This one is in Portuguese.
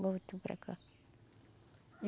Voltou para cá.